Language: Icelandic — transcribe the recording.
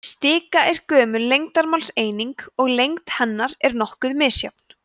stika er gömul lengdarmálseining og lengd hennar er nokkuð misjöfn